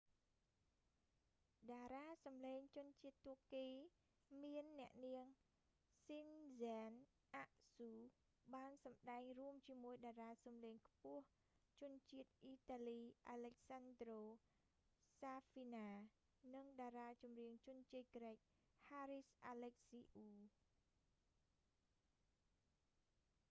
តារាសំឡេងជនជាតិទួរគីមានអ្នកនាង ស៊ិន ហ្សែន អាក់ស៊ូ sezen aksu បានសម្តែងរួមជាមួយតារាងសំឡេងខ្ពស់ជនជាតិអ៊ីតាលី អាឡិចសាន់ដ្រូ សាហ្វីណា alessandro safina និងតារាចម្រៀងជនជាតិក្រិក ហារីស អាឡិចស៊ីអ៊ូ haris alexiou